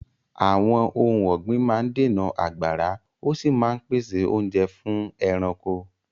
Àwọn ohun ọ̀gbìn máa ń dènà àgbàrá, ó sì máa ń pèsè oúnjẹ fún ẹranko.